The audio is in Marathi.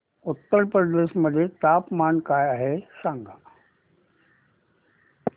उत्तर प्रदेश मध्ये तापमान काय आहे सांगा